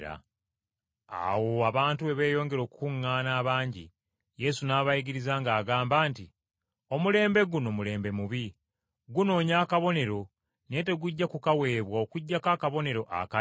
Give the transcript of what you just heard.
Awo abantu bwe beeyongera okukuŋŋaana abangi, Yesu n’abayigiriza ng’agamba nti, “Omulembe guno mulembe mubi. Gunoonya akabonero, naye tegujja kukaweebwa okuggyako akabonero aka Yona.